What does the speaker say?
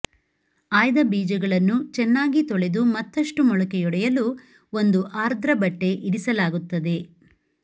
ಆಯ್ದ ಬೀಜಗಳನ್ನು ಚೆನ್ನಾಗಿ ತೊಳೆದು ಮತ್ತಷ್ಟು ಮೊಳಕೆಯೊಡೆಯಲು ಒಂದು ಆರ್ದ್ರ ಬಟ್ಟೆ ಇರಿಸಲಾಗುತ್ತದೆ